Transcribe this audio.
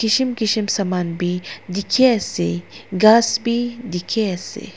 kishim kishim saman b dikhi ase ghas b dikhi ase.